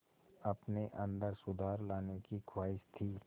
अपने अंदर सुधार लाने की ख़्वाहिश थी